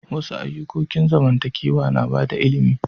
Wasu ayukokin zamantakewa na bada ilimi.